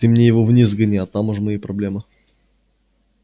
ты мне его вниз сгони а там уж мои проблемы